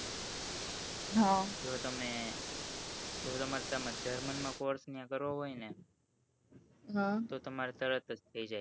હ જો તમે German માં course કરવો હોય ને હ તો તમારે તરત જ થઇ જાય